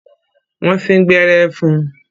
Wọ́n sín gbẹ́rẹ́ fún un.